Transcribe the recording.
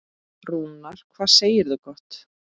Rúnar, hvað segirðu gott?